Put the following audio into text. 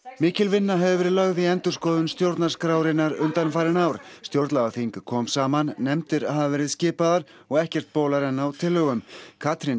er mikil vinna hefur verið lögð í endurskoðun stjórnarskrárinnar undanfarin ár stjórnlagaþing kom saman nefndir hafa verið skipaðar og ekkert bólar enn á tillögum Katrín